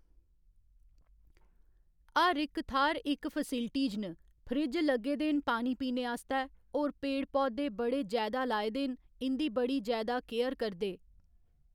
हर इक थाह्‌र इक फैस्लिटीज न फ्रीज लग्गे दे न पानी पीने आस्तै होर पेड़ पौधे बड़े जैदा लाए दे न इं'दी बड़ी जैदा केयर करदे